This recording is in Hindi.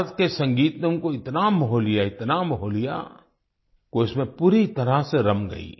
भारत के संगीत ने उनको इतना मोह लियाइतना मोह लिया कि वो इसमें पूरी तरह से रम गई